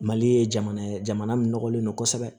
Mali ye jamana ye jamana min nɔgɔlen don kosɛbɛ